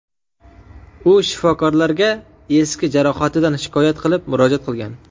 U shifokorlarga eski jarohatidan shikoyat qilib, murojaat qilgan.